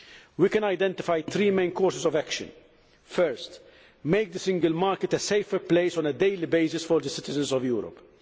We can identify three main courses of action Firstly, make the single market a safer place on a daily basis for the citizens of Europe.